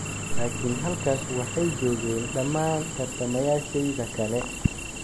laakiin halkaas waxay joogeen, dhammaan tartamayaashayda kale."